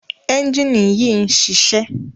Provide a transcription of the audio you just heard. ẹ́njìnì yìí ń ṣiṣẹ́.